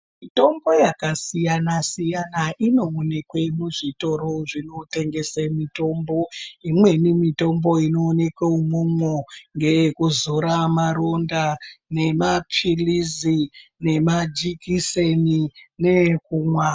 Mitombo yakasiyana-siyana inoonekwa muzvitoro zvinotengesa mitombo. Imweni mitombo inoonekwa imomo ngeyekuzora maronda nemapilizi nemajikiseni newekumwa.